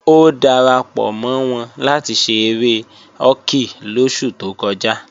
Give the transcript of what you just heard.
Ó darapọ̀ mọ́ wọn láti ṣe eré họ́kì lóṣù tó kọjá